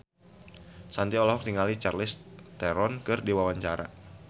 Shanti olohok ningali Charlize Theron keur diwawancara